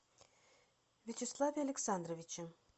вячеславе александровиче